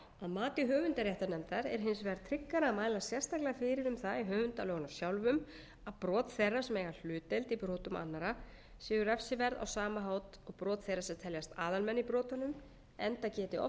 mati höfundaréttarnefndar er hins vegar tryggara að mæla sérstaklega fyrir um það í höfundalögunum sjálfum að brot þeirra sem eiga hlutdeild í brotum annarra séu refsiverð á sama hátt og brot þeirra sem teljast aðalmenn í brotunum enda geti oft verið erfitt að greina